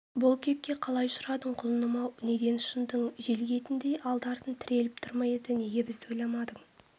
бұл кепке қалай ұшырадың құлыным-ау неден ұшындың желгетіндей алды-артың тіреліп тұр ма еді неге бізді ойламадың